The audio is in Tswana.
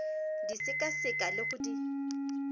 di sekaseka le go di